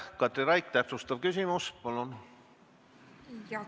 Katri Raik, täpsustav küsimus, palun!